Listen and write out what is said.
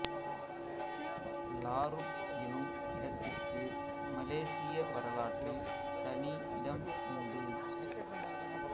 லாருட் எனும் இடத்திற்கு மலேசிய வரலாற்றில் தனி இடம் உண்டு